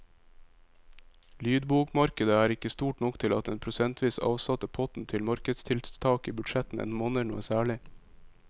Lydbokmarkedet er ikke stort nok til at den prosentvis avsatte potten til markedstiltak i budsjettene monner noe særlig.